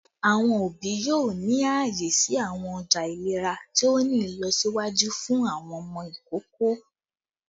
Awọn obi yoo ni aaye si awọn ọja ilera ti o ni ilọsiwaju fun awọn ọmọ ikoko